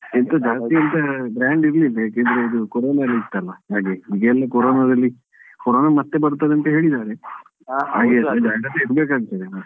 ಇದ್ದದ್ದು ಜಾಸ್ತಿ ಎಂತ grand ಇರ್ಲಿಲ್ಲ ಯಾಕೆಂದ್ರೆ ಅದು ಕೊರೊನ ಎಲ್ಲಾ ಇತ್ತಲ್ಲ ಹಾಗೆ ಕೊರೊನದಲ್ಲಿ ಕೊರೊನ ಮತ್ತೆ ಬರ್ತದೆ ಅಂತ ಹೇಳಿದ್ದಾರೆ ಆ ಸಮಯದಲ್ಲಿ ಜಾಗ್ರತೆ ಮಾಡಬೇಕು ಅಂತ.